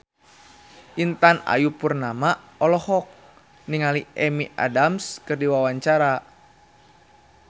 Intan Ayu Purnama olohok ningali Amy Adams keur diwawancara